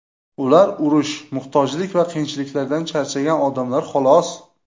Ular urush, muhtojlik va qiyinchiliklardan charchagan odamlar, xolos.